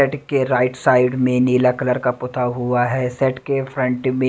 set के right side में नीला कलर का पुता हुआ है सेट के फ्रंट में--